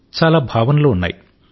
చాలా భావనలు ఉన్నాయి